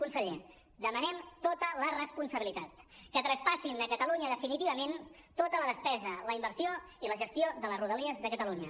conseller demanem tota la responsabilitat que traspassin a catalunya definitivament tota la despesa la inversió i la gestió de les rodalies de catalunya